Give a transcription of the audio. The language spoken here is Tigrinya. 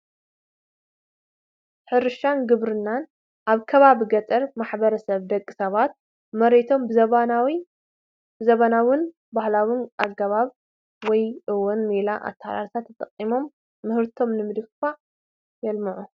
ሕርሻን ግብርናን፡- ኣብ ከባቢ ገጠር ማሕበረሰብ ደቂ ሰባት መሬቶም ብዘበናውን ባህላውን ኣገባብ ወይ ውን ሜላ ኣተሓራርሳ ተጠቒሞም ምህርቶም ንምድንፋዕ የልሙዑ፡፡